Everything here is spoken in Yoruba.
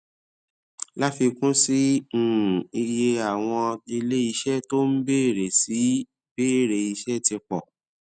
láfikún sí um i iye àwọn ilé iṣé tó ń bèrè sí í bèrè iṣé ti pò